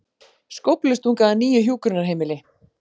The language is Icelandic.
Skóflustunga að nýju hjúkrunarheimili